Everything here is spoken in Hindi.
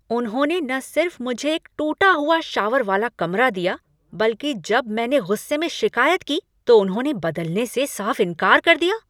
उन्होंने न सिर्फ मुझे एक टूटा हुआ शावर वाला कमरा दिया बल्कि जब मैंने गुस्से में शिक़ायत की तो उन्होंने बदलने से साफ़ इनकार कर दिया!